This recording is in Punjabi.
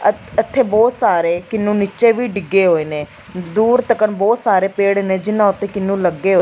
ਅਤੇ ਇਥੇ ਬਹੁਤ ਸਾਰੇ ਕਿਨੂੰ ਨੀਚੇ ਵੀ ਡਿੱਗੇ ਹੋਏ ਨੇ ਦੂਰ ਤੱਕਣ ਬਹੁਤ ਸਾਰੇ ਪੇੜ ਨੇ ਜਿੰਨਾਂ ਉੱਤੇ ਕਿਹਨੂੰ ਲੱਗੇ ਹੋਏ--